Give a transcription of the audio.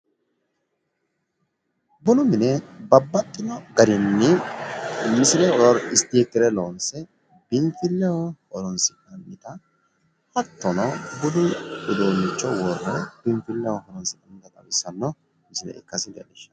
bunu mine babbaxxino garinni misile isitikire loonse biinfilleho horoonsi'nnanita hattono budu udduunicho wore biinfilleho horoonsi'nannita leellishshanno misileeti.